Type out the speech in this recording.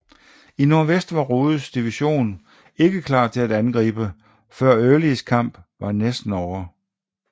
I nordvest var Rodes division ikke klar til at angribe før Earlys kamp var næsten ovre